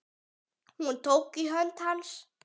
Hún tók í hönd hans.